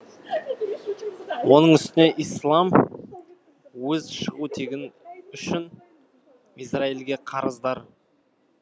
оның үстіне ислам өз шығу тегі үшін израильге қарыздар